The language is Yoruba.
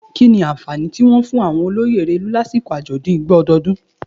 Kini awọn anfani ti wọn fun awọn oloye Erelu lasiko ajọdun Igbo ọdọọdun?